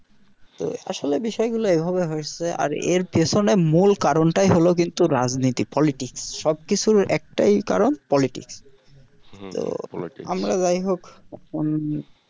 তো আসলে বিষয় গুলো এইভাবে হচ্ছে আর এর পিছনে মুল কারণটাই হলো কিন্তু রাজনীতি politics সবকিছুর একটাই কারণ politics তো আমরা যাই হোক